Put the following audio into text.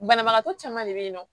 Banabagatɔ caman de bɛ yen nɔ